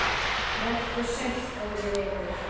Vertu sæll, góði vinur.